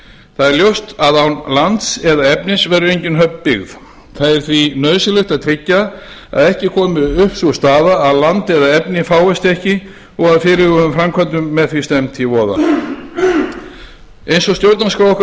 það er ljóst að án lands eða efnis verður engin höfn byggð það er því nauðsynlegt að tryggja að ekki komi upp sú staða að land eða efni fáist ekki og fyrirhuguðum framkvæmdum með því stefnt í voða eins stjórnarskrá okkar